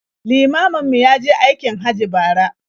Limamin mu ya je aikin Hajji bara.